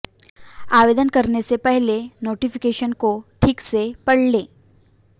आवेदन करने से पहले नोटिफिकेशन को ठीक से पढ़ लें